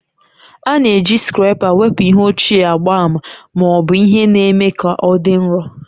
A na-eji scraper wepụ ihe ochie agba ma ọ bụ ihe na-eme ka ọ dị nro